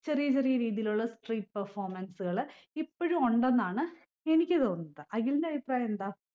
ചെറിയ ചെറിയ രീതിയിലുള്ള street performance കൾ ഇപ്പൊഴു ഉണ്ടെന്നാണ് എനിക്ക് തോന്നുന്നത് അഖിലിന്റെ അഭിപ്രായെന്താ